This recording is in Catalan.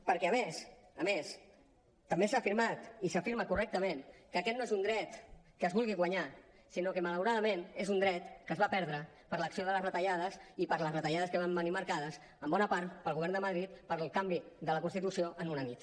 perquè a més a més també s’ha afirmat i s’afirma correctament que aquest no és un dret que es vulgui guanyar sinó que malauradament és un dret que es va perdre per l’acció de les retallades i per les retallades que van venir marcades en bona part pel govern de madrid pel canvi de la constitució en una nit